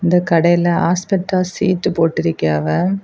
இந்த கடையில asbestos sheet போட்டிருக்கியாவ.